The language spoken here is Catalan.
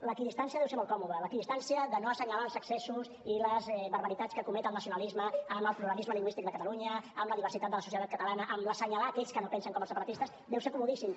l’equidistància deu ser molt còmoda l’equidistància de no assenyalar els excessos i les barbaritats que comet el nacionalisme amb el pluralisme lingüístic de catalunya amb la diversitat de la societat catalana amb assenyalar aquells que no pensen com els separatistes deu ser comodíssim